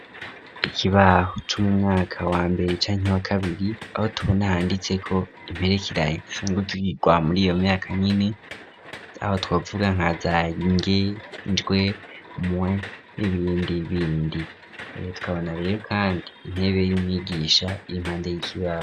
Ikibaho c'umumwaka wa mbere canke wa kabiri aho tubona handitseko imperekeranye zisanzwe zigwa muri iyo myaka nyene aho twavuga nkaza nge, jwe, mwe n'ibindi bindi ,tukabona rero kandi intebe y'umwigisha irimpande y'ikibaho.